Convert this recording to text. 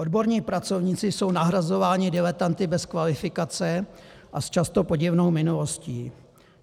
Odborníci pracovníci jsou nahrazováni diletanty bez kvalifikace a s často podivnou minulostí.